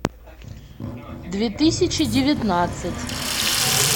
две тысячи девятнадцать